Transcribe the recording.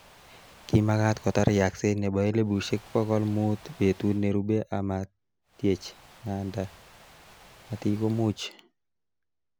Kimakat kotar yakset nebo elibushek bokol mut betut nerube amatyech nganda matikomuch